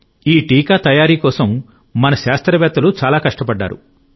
ఈ టీకా తయారీ కోసం మన శాస్త్రవేత్తలు చాలా కష్టపడ్డారు